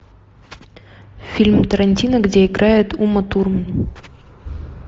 фильм тарантино где играет ума турман